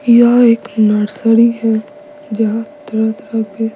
यह एक नर्सरी है जहां तरह के--